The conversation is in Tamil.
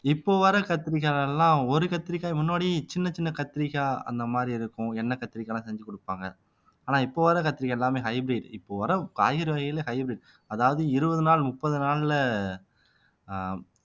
இப்போ வர்ற கத்திரிக்காய்ல எல்லாம் ஒரு கத்திரிக்காய் முன்னாடி சின்ன சின்ன கத்திரிக்காய் அந்த மாரி இருக்கும் எண்ணெய் கத்திரிக்காய் எல்லாம் செஞ்சு குடுப்பாங்க ஆனா இப்ப வர கத்தரிக்காய் எல்லாமே hybrid இப்ப வர காய்கறி வகையில hybrid அதாவது இருபது நாள் முப்பது நாள்ல ஆஹ்